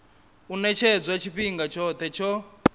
u ṅetshedzwa tshifhinga tshoṱhe tsho